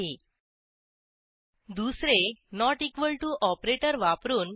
2 दुसरे160 ऑपरेटर वापरून